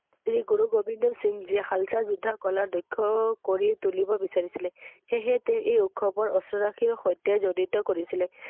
গুৰু গোবিন্দ সিং যি শালচা যোদ্বা, কলা, দক্ষ কৰি তুলিব বিচাৰিছিলে সেয়েহে তেওঁ এই উৎসৱ ৰ অস্ত্ৰ ৰাখিৰ সৈতে জড়িত কৰিছিলে ৷